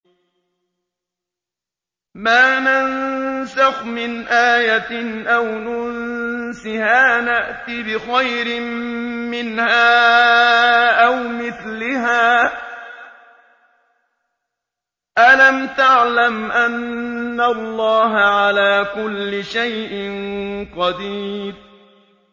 ۞ مَا نَنسَخْ مِنْ آيَةٍ أَوْ نُنسِهَا نَأْتِ بِخَيْرٍ مِّنْهَا أَوْ مِثْلِهَا ۗ أَلَمْ تَعْلَمْ أَنَّ اللَّهَ عَلَىٰ كُلِّ شَيْءٍ قَدِيرٌ